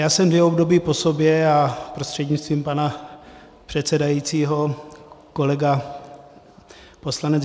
Já jsem dvě období po sobě, a prostřednictvím pana předsedajícího kolega poslanec